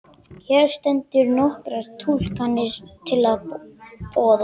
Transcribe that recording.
Hér standa nokkrar túlkanir til boða.